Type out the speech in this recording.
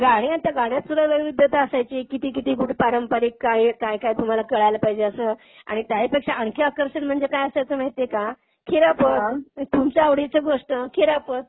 गाणी आता गाण्यातसुद्धा वैविध्यता असायची. किती किती कुठं पारंपरिक कायकाय काय तुम्हाला कळायला पाहिजे असं आणि त्याहीपेक्षा आणखी आकर्षण म्हणजे काय असायचं माहिती आहे का? खिरापत तुमच्या आवडीचं गोष्ट, खिरापत.